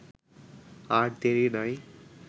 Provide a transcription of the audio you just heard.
আর দেরি নাই